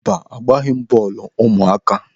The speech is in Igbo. Mba, ha agbaghị bọọlụ ụmụaka.